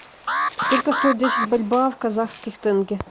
сколько стоит десять бальбоа в казахских тенге